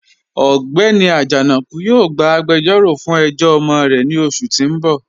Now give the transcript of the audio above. Ọgbẹ́ni Ajanaku yóò gbà àgbèjọ̀ró fún ẹ̀jọ̀ ọmọ rẹ̀ ní oṣù tí n bọ̀.